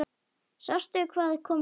Sástu hvað kom fyrir?